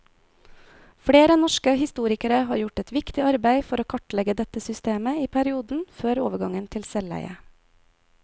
Flere norske historikere har gjort et viktig arbeid for å kartlegge dette systemet i perioden før overgangen til selveie.